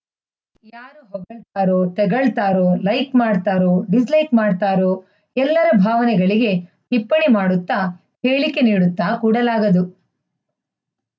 ಳ್ತಾರೋ ತೆಗಳ್ತಾರೋ ಲೈಕ್‌ ಮಾಡ್ತಾರೋ ಡಿಸ್‌ಲೈಕ್‌ ಮಾಡ್ತಾರೋ ಎಲ್ಲರ ಭಾವನೆಗಳಿಗೆ ಟಿಪ್ಪಣಿ ಮಾಡುತ್ತ ಹೇಳಿಕೆ ನೀಡುತ್ತ ಕೂಡಲಾಗದು